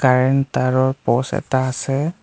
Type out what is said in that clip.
Current তাঁৰৰ প'চ এটা আছে।